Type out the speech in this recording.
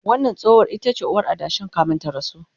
wannan tsohuwar itace uwar adashin kamin ya rasu